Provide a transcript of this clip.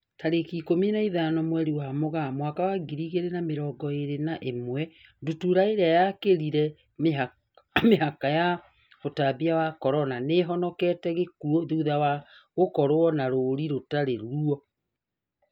Tarĩki ikũmi na ithano mweri wa Mũgaa mwaka wa ngiri igĩrĩ na mĩrongo ĩrĩ na ĩmwe, ndutura ĩrĩa yakĩrire mĩhaka ya ũtambia wa Corona, nĩihonokete gĩkuo thutha wa gũkorwo na rũri rũtari ruo